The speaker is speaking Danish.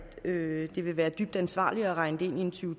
det ville være dybt uansvarligt at regne det ind i en to